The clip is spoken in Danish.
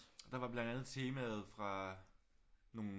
Der var blandt andet temaet fra nogle